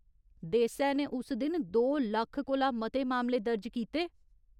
देसै ने उस दिन दो लक्ख कोला मते मामले दर्ज कीते।